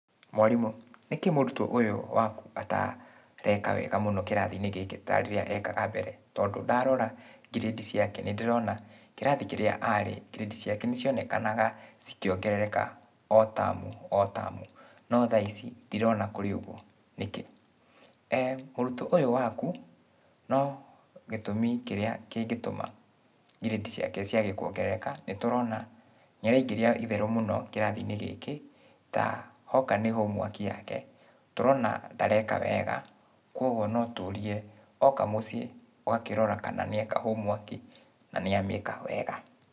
Mwarimũ, nĩkĩ mũrutwo ũyũ waku atareka wega mũno kirathi-inĩ gĩkĩ tarĩrĩa ekaga mbere? tondũ ndarora, ngirĩndĩ ciake nĩ ndĩrona kĩrathi kĩrĩa arĩ, ngĩrĩndi ciake nĩcionekanaga cikĩongerereka o tamu o tamu, no thaa ici ndirona kũrĩ ũguo, nĩkĩ. Mũrutwo ũyũ waku, no gĩtũmi kĩrĩa kĩngĩtũma ngirĩndi ciake ciage kuongereka, nĩtũrona, nĩaraingĩria itherũ mũno kĩrathi-inĩ gĩkĩ, ta hoka nĩ hũmuwaki yake, tũrona ndareka wega, kuoguo no tũrie, oka mũciĩ, ũgakĩrora kana nĩeka hũmuwaki, na nĩamĩka wega